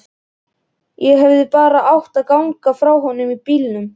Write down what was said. Ég hefði bara átt að ganga frá honum í bílnum.